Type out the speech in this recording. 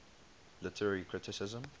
literary criticism